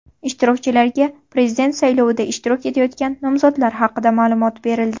Ishtirokchilarga Prezident saylovida ishtirok etayotgan nomzodlar haqida ma’lumot berildi.